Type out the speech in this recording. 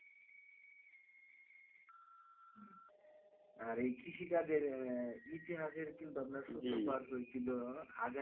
আর এই কৃষিকাজের ইতিহাসের সূত্রপাত হয়েছিল হাজার